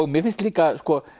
mér finnst líka